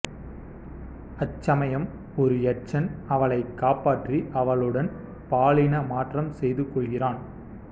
அச்சமயம் ஒரு யட்சன் அவளைக் காப்பாற்றி அவளுடன் பாலின மாற்றம் செய்து கொள்கிறான்